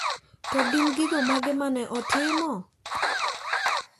To gin gigo mage ma ne otimo?